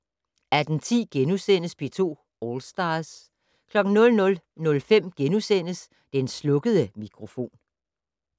18:10: P2 All Stars * 00:05: Den slukkede mikrofon *